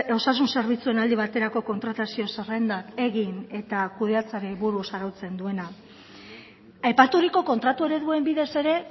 osasun zerbitzuen aldi baterako kontratazio zerrendak egin eta kudeatzeari buruz arautzen duena aipaturiko kontratu ereduen bidez ere